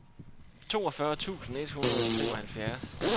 toogfyrre tusind et hundrede og femoghalvfjerds